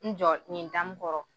N jɔ nin dani kɔrɔ.